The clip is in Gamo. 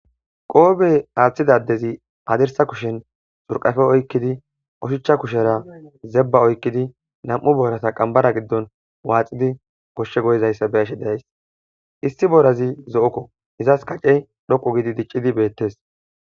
Qoobey aaththidadezi adirsa kushen xurqafe oykkidi oshuchcha kushera zebba oykkidi nam'u borasa qambara giddon waaxidi goshshe goyizayssa beeshe days isti borazi zo'okko izas kacce dhoqu gidi diccidi beettes.